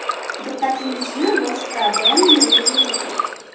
Diqqatingizni boshqa biron nimaga yo‘naltiring.